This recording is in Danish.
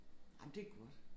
Ej men det godt